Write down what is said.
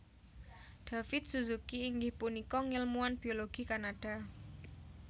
David Suzuki inggih punika ngèlmuwan biologi Kanada